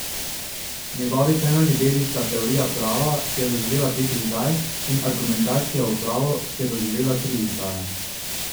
Njegovi temeljni deli sta Teorija prava, ki je doživela pet izdaj, in Argumentacija v pravu, ki je doživela tri izdaje.